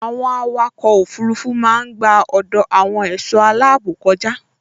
Àwọn àwòkọ òfurufú máa n gba ọdọ àwọn ẹṣọ aláàbò kọja